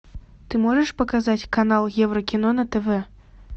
ты можешь показать канал евро кино на тв